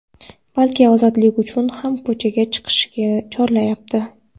balki ozodlik uchun ham ko‘chaga chiqishga chorlayapti.